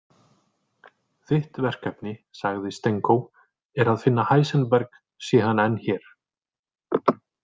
Þitt verkefni, sagði Stenko, „er að finna Heisenberg sé hann enn hér.